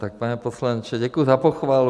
Tak pane poslanče, děkuju za pochvalu.